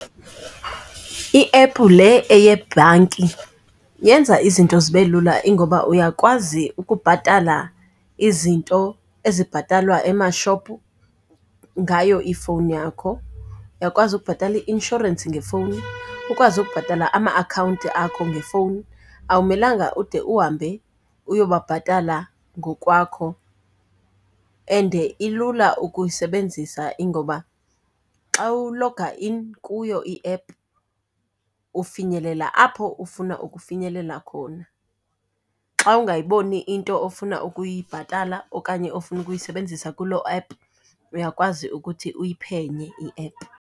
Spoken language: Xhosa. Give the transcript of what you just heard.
I-app le eyebhanki yenza izinto zibe lula, ingoba uyakwazi ukubhatala izinto ezibhatalwa emashophu ngayo ifowuni yakho. Uyakwazi ukubhatala i-inshorensi ngefowuni, ukwazi ukubhatala ama-akhawunti akho ngefowuni, awumelanga ude uhambe uyobabhatala ngokwakho. And ilula ukuyisebenzisa ingoba xa uloga in kuyo i-app ufinyelela apho ufuna ukufinyelela khona. Xa ungayiboni into ofuna ukuyibhatala okanye ofuna ukuyisebenzisa kulo app uyakwazi ukuthi uyiphenye i-app.